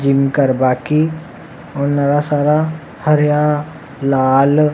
gym करवा की और नरा सारा हरया लाल --